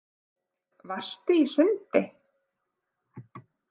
Varstu í sundi?